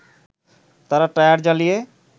তারা টায়ার জ্বালিয়ে